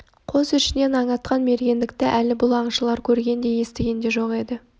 қос ішінен аң атқан мергендікті әлі бұл аңшылар көрген де естіген де жоқ еді